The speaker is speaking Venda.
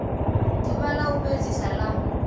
ḓuvha ḽa u fhedzisa ḽa